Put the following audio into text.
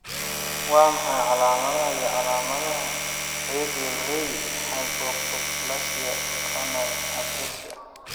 Waa maxay calaamadaha iyo calaamadaha Radial ray hypoplasia choanal atresia?